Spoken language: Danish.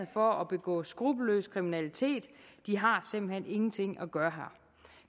for at begå skruppelløs kriminalitet de har simpelt hen ingenting at gøre her